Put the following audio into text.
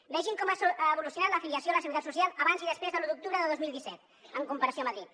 vegin com ha evolucionat l’afiliació a la seguretat social abans i després de l’un d’octubre de dos mil disset en comparació a madrid